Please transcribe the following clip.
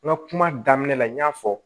N ka kuma daminɛ la n y'a fɔ